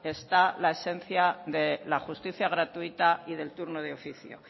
está la esencia de la justicia gratuita y del turno de oficio